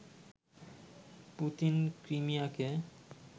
Putin ক্রিমিয়াকে